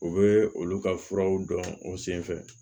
U bɛ olu ka furaw dɔn o sen fɛ